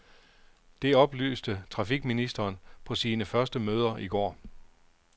Det oplyste trafikministeren på sine første møder i går.